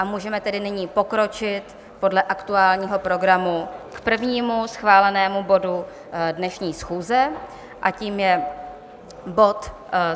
A můžeme tedy nyní pokročit podle aktuálního programu k prvnímu schválenému bodu dnešní schůze, a tím je bod